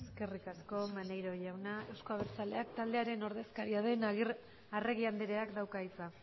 eskerrik asko maneiro jauna euzko abertzaleak taldearen ordezkaria den arregi andreak dauka hitza